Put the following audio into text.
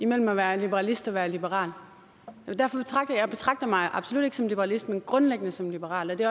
mellem at være liberalist og være liberal jeg betragter mig absolut ikke som liberalist men grundlæggende som liberal og det